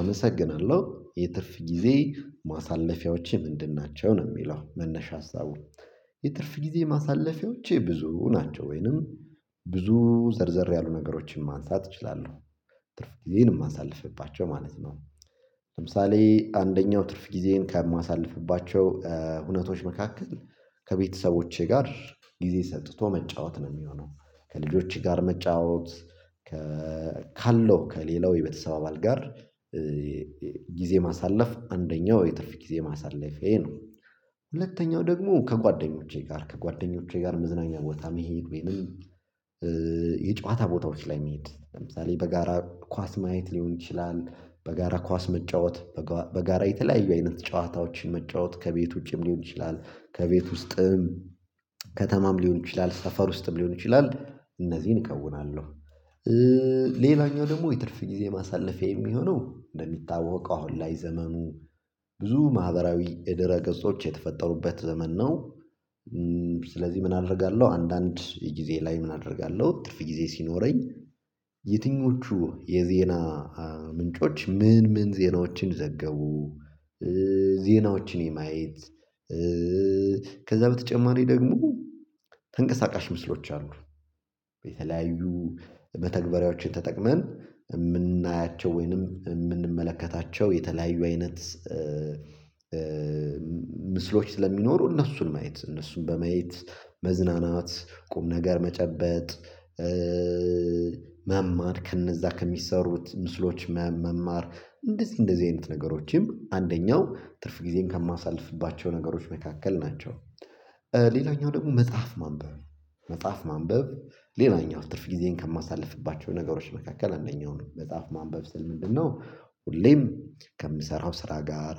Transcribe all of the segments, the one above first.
አመሰግናለሁ የትርፍ ጊዜ ማሳለፊያዎቼ ምንድን? ናቸው ነው የሚለው መነሻ ሀሳቡን። የትርፍ ጊዜ ማሳለፊያዎቼ ብዙ ናቸው ወይንም ብዙ ዘርዘር ያሉ ነገሮችን ማንሳት እችላለሁ። ትርፍ ጊዜን የማሳልፍባቸው ማለት ነው። ለምሳሌ አንደኛው ትርፍ ጊዜን ከማሳልፍባቸው እውነቶች መካከል። ከቤተሰቦቼ ጋር ጊዜ ሰጥቶ መጫወት ነው የሚሆነው ከልጆቼ ጋር መጫወት ከ ካለው ከሌላው የቤተሰብ አባል ጋር ጊዜ ማሳለፍ አንደኛው የትርፍ ጊዜ ማሳለፍ ይሄ ነው። ሁለተኛው ደግሞ ከጓደኞቼ ጋር ከጓደኞቼ ጋር መዝናኛ ቦታ መሄድ የጨዋታ ቦታዎች ላይ መሄድ ለምሳሌ በጋራ ኳስ ማየት ሊሆን ይችላል። በጋራ ኳስ መጫወት። በጋራ የተለያዩ አይነት ጨዋታዎችን መጫወት ከቤት ውጪም ሊሆን ይችላል። ከቤት ውስጥም። ከተማም ሊሆን ይችላል ሰፈር ውስጥም ሊሆን ይችላል እነዚህን አከናውናለሁ። ሌላኛው ደግሞ የትርፍ ጊዜ ማሳለፊያ የሚሆነው እንደሚታወቀው አሁን ላይ ዘመኑ ብዙ ማህበራዊ የደረ ገጾች የተፈጠሩበት ዘመን ነው። ስለዚህ ምን አደርጋለሁ አንዳንድ የጊዜ ላይ ምን አደርጋለሁ ጥፍ ጊዜ ሲኖረኝ። የትኞቹ የዜና ምንጮች ምን ምን ዜናዎችን ዘገቡ። ዜናዎችን የማየት ከዛ በተጨማሪ ደግሞ ተንቀሳቃሽ ምስሎች አሉ። በተለያዩ መተግባራዎች ተጠቅመን የምናያቸው ወይንም የምንመለከታቸው የተለያዩ አይነት ምስሎች ስለሚኖሩ እነሱን ማየት እነሱን በመየት መዝናናት ቁምነገር መጨበጥ። መማር ከነዛ ከሚሰሩት ምስሎች መማር እንደዚህ እንደዚህ አይነት ነገሮችም አንደኛው ትርፍ ጊዜን ከማሳልፍባቸው ነገሮች መካከል ናቸው። ሌላኛው ደግሞ መጽሐፍ ማንበብ መጽሐፍ ማንበብ። ሌላኛው ትርፍ ጊዜን ከማሳልፍባቸው ነገሮች መካከል አንደኛው ነው መጽሐፍ ማንበብ ስል ምንድነው? ሁሌም ከምሰራው ስራ ጋር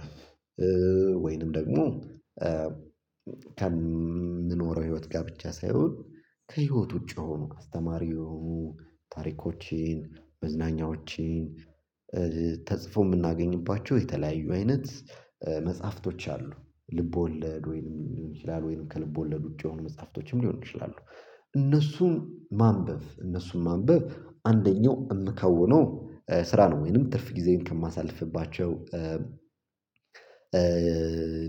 ወይንም ደግሞ ከ ከምንኖረው ህይወት ጋር ብቻ ሳይሆን። ከህይወት ውጪ ሆኖ ከአስተማሪው ታሪኮችን መዝናኛዎችን ተጽፎ የምናገኝባቸው የተለያዩ አይነት መጽሐፍቶች አሉ። ልብ ወለድ ወይንም ሊሆን ይችላል ወይንም ከልብ ወለድ ውጪ የሆኑ መጽሐፍቶችም ሊሆን ይችላሉ። እነሱም ማንበብ እነሱም ማንበብ አንደኛው የምከውነው ስራ ነው ወይንም ትርፍ ጊዜን ከማሳልፍባቸው።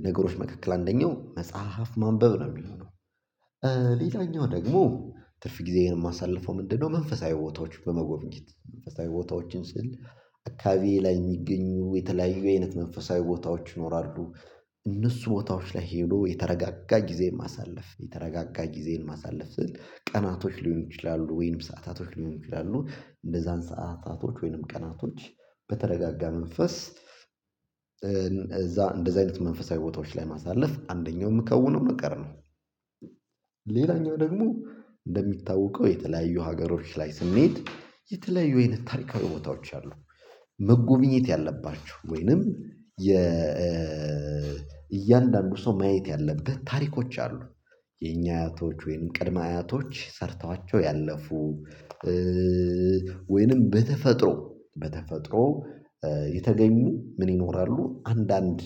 ነገሮች መካከል አንደኛው መጽሐፍ ማንበብ ነው የሚሆነው። ሌላኛው ደግሞ ትርፍ ጊዜ ይሄን የማሳልፈው ምንድነው? መንፈሳዊ ቦታዎች በመጎብኝት መንፈሳዊ ቦታዎችን ስል አካባቢዬ ላይ የሚገኙ የተለያዩ አይነት መንፈሳዊ ቦታዎች ይኖራሉ። እነሱ ቦታዎች ላይ ሄዶ የተረጋጋ ጊዜን ማሳለፍ የተረጋጋ ጊዜን ማሳለፍ ስል ቀናቶች ሊሆን ይችላሉ ወይንም ሰዓታቶች ሊሆን ይችላሉ እንደዛን ሰዓታቶች ወይንም ቀናቶች። በተረጋጋ መንፈስ እዛ እንደዚህ አይነት መንፈሳዊ ቦታዎች ላይ ማሳለፍ አንደኛው የምከውነው ነገር ነው። ሌላኛው ደግሞ እንደሚታወቀው የተለያዩ ሀገሮች ላይ ስሜት የተለያዩ አይነት ታሪካዊ ቦታዎች አሉ። መጎብኘት ያለባቸው ወይንም የ እያንዳንዱ ሰው ማየት ያለበት ታሪኮች አሉ። የኛ አያቶች ወይም ቅድመ አያቶች ሰርተዋቸው ያለፉ ወይንም በተፈጥሮ በተፈጥሮ የተገኙ ምን ይኖራሉ አንዳንድ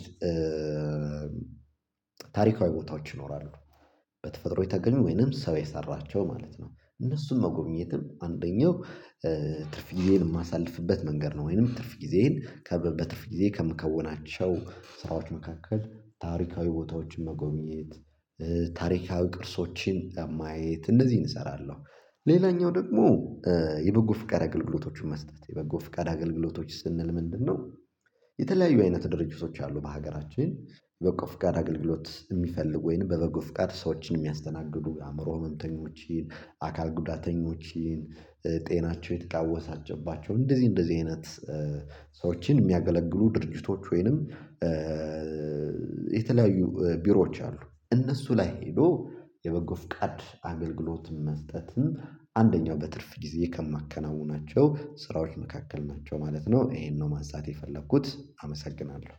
ታሪካዊ ቦታዎች ይኖራሉ። በተፈጥሮ የተገኘ ወይንም ሰው የሰራቸው ማለት ነው። እነሱም መጎብኘትም አንደኛው ትርፍ ጊዜን የማሳልፍበት መንገድ ነው። ወይንም ትርፍ ጊዜን ከበት በትርፍ ጊዜ ከምከውናቸው ስራዎች መካከል ታሪካዊ ቦታዎችን መጎብኘት ታሪካዊ ቅርሶችን ማየት እንደዚህ እንሰራለን። ሌላኛው ደግሞ የበጎ ፍቃድ አገልግሎቶችን መስጠት የበጎ ፍቃድ አገልግሎቶች ስንል ምንድነው? የተለያዩ አይነት ድርጅቶች አሉ በሀገራችን በበጎ ፍቃድ አገልግሎት የሚፈልጉ ወይንም በበጎ ፍቃድ ሰዎችን የሚያስተናግዱ የአእምሮ ህመምተኞችን አካል ጉዳተኞችን ጤናቸው የተቃወሰባቸው እንደዚህ እንደዚህ አይነት። ሰዎችን የሚያገለግሉ ድርጅቶች ወይንም የተለያዩ ቢሮዎች አሉ እነሱ ላይ ሄዶ የበጎ ፍቃድ አገልግሎትም መስጠትም አንደኛው በትርፍ ጊዜ ከማከናውናቸው ስራዎች መካከል ናቸው ማለት ነው። ይሄን ነው ማንሳት ማሳየት የፈለኩት አመሰግናለሁ።